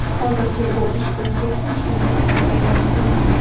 Hozircha bu ish bo‘yicha hech kimga ayblov e’lon qilinmagan.